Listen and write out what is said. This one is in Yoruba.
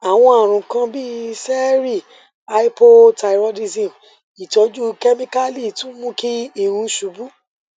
awọn arun kan bii ṣẹẹri hypothyroidism itọju kemikali tun mu ki irun ṣubu